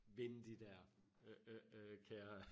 Vinde de dér øh øh øh kære